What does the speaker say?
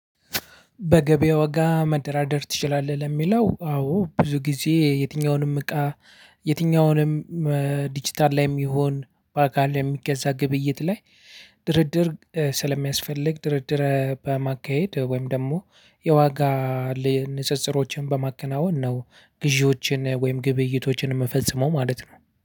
በገበያ ዋጋ መደራደር ትችላለህ ለሚለው? አዎ ብዙ ጊዜ የትኛውንም እቃ የትኛውንም ዲጂታል ላይም ይሁን ባካል ላይ የሚገዛ ግብይት ላይ ድርድር ስለሚያስፈልግ ድርድር በማካሄድ ወይም ደግሞ የዋጋ ንጽጽሮችን በማከናወን ነው። ግዢዎችን ወይም ግብይቶችን የምፈጽመው ማለት ነው